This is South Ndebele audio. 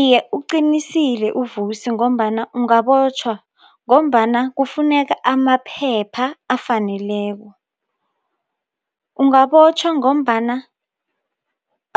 Iye, uqinisile uVusi ngombana ungabotjhwa ngombana kufuneka amaphepha afaneleko. Ungabotjhwa ngombana